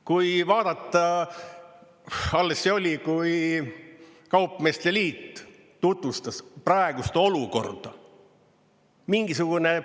Kui vaadata, alles see oli, kui kaupmeeste liit tutvustas praegust olukorda.